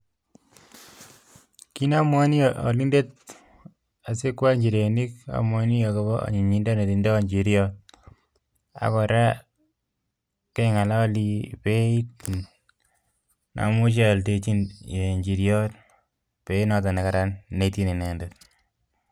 Kit namwaini alindet asikwal nchirenik amwaini akopo anyinyindo netindo nchiriot akora keng'alii beit namuche aalndechi nchiriot beit noton nekaran neityin inendet